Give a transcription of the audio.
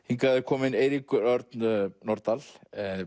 hingað er kominn Eiríkur Örn Norðdahl